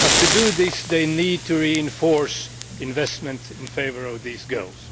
but to do this they need to strengthen investment in favour of these goals.